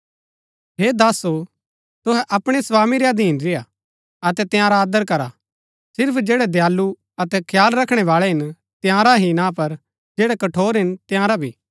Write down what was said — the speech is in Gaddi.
हे दासो तुहै अपणै स्वामी रै अधीन रेय्आ अतै तंयारा आदर करा सिर्फ जैड़ै दयालु अतै खयाल रखणै बाळै हिन तंयारा ही ना पर जैड़ै कठोर हिन तंयारा भी